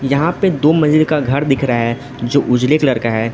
यहां पे दो मंजिल का घर दिख रहा है जो उजले कलर का है।